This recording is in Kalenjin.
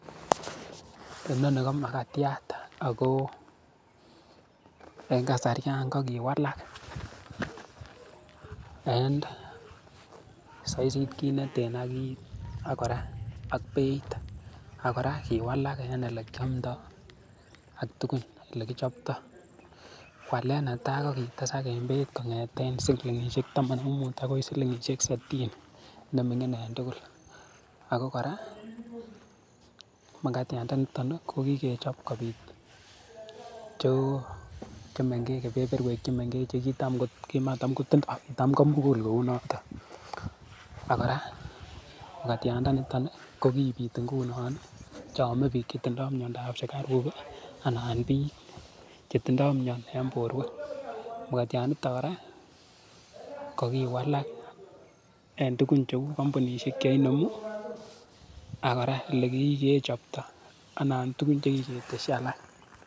Inoni ko magatiat ako eng kasariat kokiwalak and saisit ki neten ak kit ak kora beit ak kora kiwalak en ole kiamdo ak tugun ole kichopto walet netai kokitesak en beit konyete silingisiek taman ak muut akoi silingisiek sitini neminingeng tugul akokora magatiandoniton kokikechop kobit che mengech kebeberwek chemengech chekitamgot kimatakotindoi tamgomukul kounoto. Ak kora makatiandonitoni kokibit ingunon cheome bik chetindoi miandop sukaruk anan bik chetindoi mia eng borwek makatianitok kora kokiwalak en tuguk cheu kampunisiek cheinemu ak kora olekikechopto anan tuguk chekiketesyi alak.